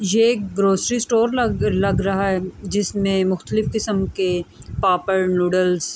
یہ ایک grocery store لگ لگ رہا ہے۔ جسمے مختلف کسم کے پاپڈ، نوڈلس --